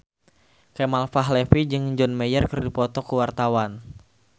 Kemal Palevi jeung John Mayer keur dipoto ku wartawan